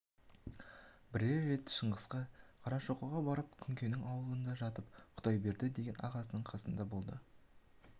бірер рет шыңғысқа қарашоқыға барып күнкенің аулында жатып құдайберді деген ағасының қасында болды